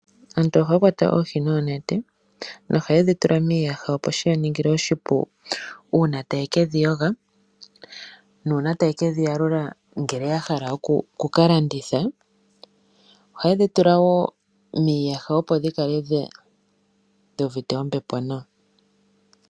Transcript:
Aantu ohaya kwata oohi noonete nohaye dhi tula miiyaha, opo shi ya ningile oshipu uuna taya ke dhi yoga nuuna taye ke dhi yalula ngele ya hala oku ka landitha. Ohaye dhi tula wo miiyaha, opo dhi kale dhi uvite ombepo nawa.